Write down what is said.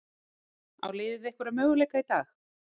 En á liðið einhverja möguleika í dag?